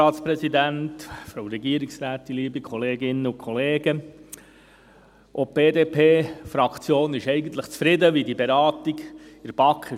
Auch die BDP-Fraktion ist eigentlich zufrieden, wie die Beratung in der BaK lief.